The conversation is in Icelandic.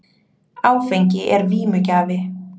Áfengi er vímugjafi.